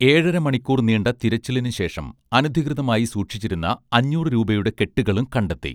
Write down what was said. ഏഴര മണിക്കൂർ നീണ്ട തിരച്ചിലിനുശേഷം അനധികൃതമായി സൂക്ഷിച്ചിരുന്ന അഞ്ഞൂറു രൂപയുടെ കെട്ടുകളും കണ്ടെത്തി